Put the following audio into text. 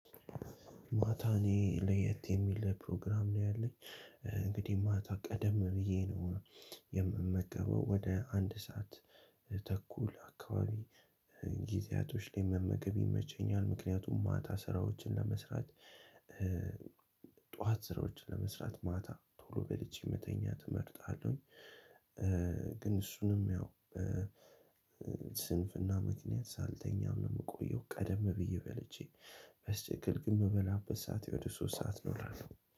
ማታ እኔ ለየት የሚል ፕሮግራም ነው ያለኝ። እንግዲህ ማታ ቀደም ብዬ ነው የምመገበው ወደ አንድ ሰዓት ተኩል አካባቢ። ጊዜያቶች ላይ መመገብ ይመቸኛል። ምክንያቱም ማታ ስራዎችን ለመስራት። ጠዋት ስራዎችን ለመስራት ማታ ቶሎ በልቼ መተኛት እመርጣለሁኝ። ግን እሱንም ያው ስንፍና ምክንያት ሳልተኛም ነው የምቆየው። ቀደም ብዬ በልቼ በስትክል ግን እምበላበት ሰዓት ወደ ሶስት ነው እላለሁ።